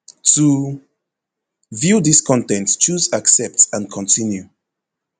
to view dis con ten t choose accept and continue